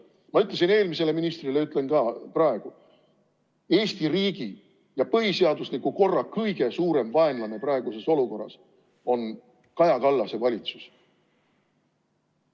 Ma ütlesin seda eelmisele ministrile ja ütlen ka praegu: Eesti riigi ja põhiseadusliku korra kõige suurem vaenlane on praeguses olukorras Kaja Kallase valitsus.